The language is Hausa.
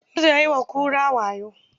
Gizo ya yi wa kura wayo.